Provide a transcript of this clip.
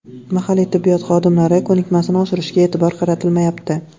Mahalliy tibbiyot xodimlari ko‘nikmasini oshirishga e’tibor qaratilmayapti.